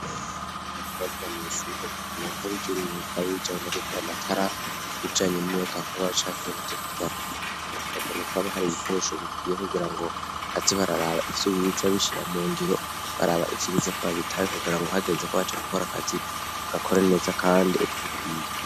ekobariga miswer akenee ko bigire imekayibijanye no gukora amatara bicanye imeka nkuba cankine byo kubaka rakene ko baba hari ibikoresho bikwiye kugira ngo atzi bararaba ifyo biza bishira mu ngiro baraba ifyo bize ko babitaye kugira ngo hagenze ko baca guhora akazi gakora neza kandi uko bikwiye.